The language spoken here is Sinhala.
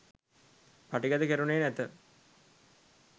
පටිගත කෙරුණේ නැත